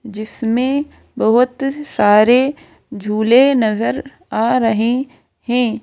जिसमें बहुत सारे झूले नजर आ रहे हैं।